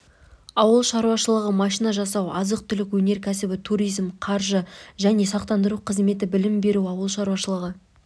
ауыл шаруашылығы машина жасау азық-түлік өнеркәсібі туризм қаржы және сақтандыру қызметі білім беру ауыл шаруашылығы